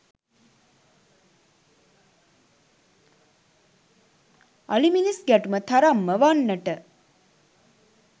අලි මිනිස් ගැටුම තරම්ම වන්නට